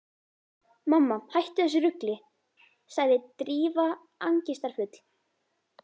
Mamma, hættu þessu rugli sagði Drífa angistarfull.